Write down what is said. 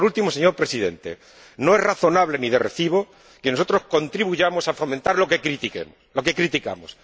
Y por último, señor Presidente, no es razonable ni de recibo que nosotros contribuyamos a fomentar lo que criticamos.